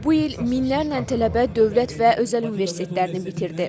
Bu il minlərlə tələbə dövlət və özəl universitetlərini bitirdi.